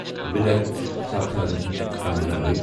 wheeler southern Tamil Nadu